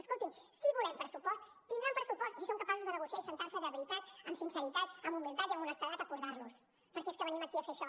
escoltin si volem pressupost tindran pressupost si són capaços de negociar i asseure’s de veritat amb sinceritat amb humilitat i amb honestedat a acordar los perquè és que venim aquí a fer això